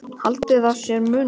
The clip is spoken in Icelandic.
Haldið að sé munur!